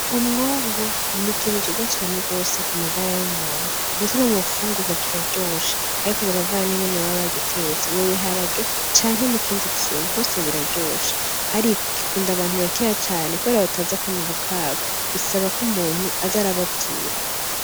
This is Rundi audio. Umwungu n'ikintu ciza cane kumagara y'umuntu ndetse no munfungurwa kiraryoshe ariko biravana ningene baba bagitetse mubiharage canke mukindi kintu hose biraryoshe ariko gikunda abantu bakeya cane kubera batazi akamaro kabo bisaba k'umuntu aza arababwira.